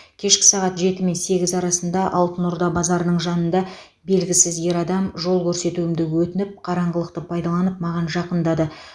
кешкі сағат жеті мен сегіз арасында алтын орда базарының жанында белгісіз ер адам жол көрсетуімді өтініп қараңғылықты пайдаланып маған жақындады